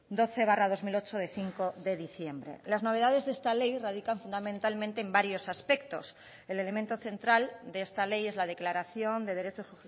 doce barra dos mil ocho de cinco de diciembre las novedades de esta ley radican fundamentalmente en varios aspectos el elemento central de esta ley es la declaración de derechos